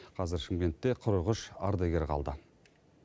қазір шымкентте қырық үш ардагер қалды